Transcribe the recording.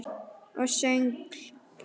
Og söngl.